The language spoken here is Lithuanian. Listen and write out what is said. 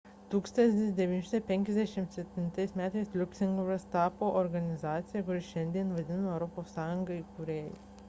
1957 m liuksemburgas tapo organizacijos kuri šiandien vadinama europos sąjunga įkūrėju